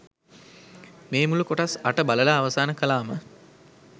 මේ මුළු කොටස් අට බලලා අවසාන කළාම.